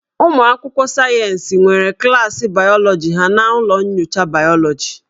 Ụmụ akwụkwọ sayensị nwere klaasị bayọlọji ha n'ụlọ nyocha bayọlọji